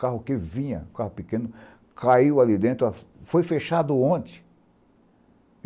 Carro que vinha, carro pequeno, caiu ali dentro, foi fechado ontem.